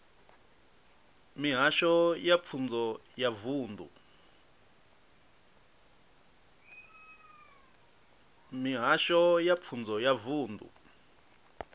mihasho ya pfunzo ya vunḓu